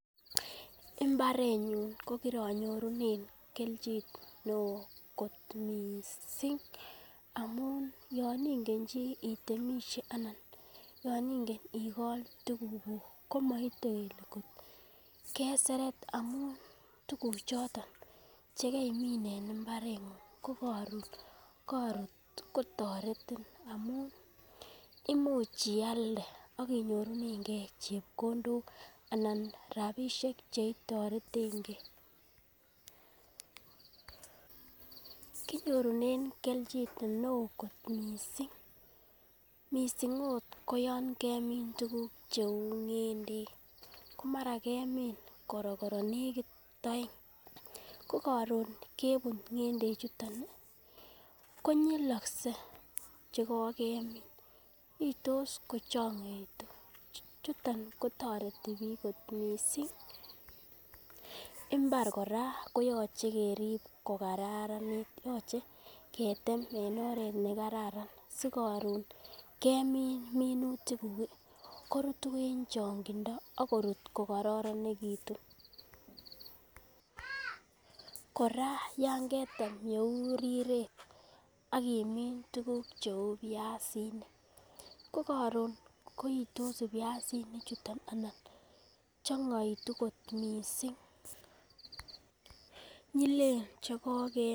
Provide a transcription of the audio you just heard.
Mbaret nyun kokironyorunen kelchin neoo kot missing amun yon ingen chii itemisye ana yon ingen ikol tuguk kuk komoite kele keseret amun tuguk choton chekeimin en mbaretng'ung ko koron korut kotoretin amun imuch ialde ak inyorunen gee chepkondok anan rapisiek cheitorengee kinyorunen kelchin neoo kot missing, missing it ko yon kemin tuguk cheu ng'endek ko mara kemin korokoro nekit oeng ko koron kebut ng'endek chuton ih konyilokse chekokemin iytos kochongoitu chuton kotoreti biik kot missing. Mbar kora koyoche kerib kokaranit yoche ketem en oret nekararan sikoron kemin minutik kuk ih korutu en chong'indo ak korut kokororonekitun, kora yan ketem yeu riret ak imin tuguk cheu buyasinik ko koron koitos buyasinik chuton ana chongoitu kot missing nyilen chekokemin